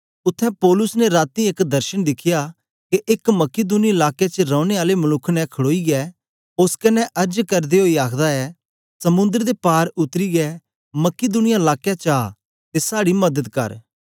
उत्थें पौलुस ने रातीं एक दर्शन दिखया के एक मकिदुनी लाके च रौने आले मनुक्ख ने खड़ोईयै ओस कन्ने अर्ज करदे ओई आखदा ऐ समुंद्र दे पार उतरीयै मकिदुनिया लाके च आ ते साड़ी मदद कर